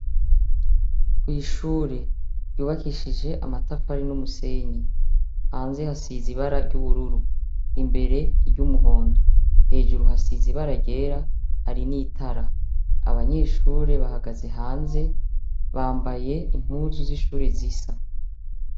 ku ishuri ryubakishije amatafari n'umusenyi hanze hasize ibara ry'ubururu imbere iryumuhondo hejuru hasize ibara ryera hari n'itara banyeshuri bahagaze hanze bambaye impuzu z'ishuri zisa.